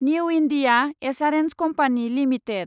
new India Assurance Company limited